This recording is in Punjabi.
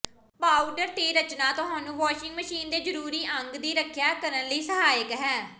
ਪਾਊਡਰ ਦੇ ਰਚਨਾ ਤੁਹਾਨੂੰ ਵਾਸ਼ਿੰਗ ਮਸ਼ੀਨ ਦੇ ਜ਼ਰੂਰੀ ਅੰਗ ਦੀ ਰੱਖਿਆ ਕਰਨ ਲਈ ਸਹਾਇਕ ਹੈ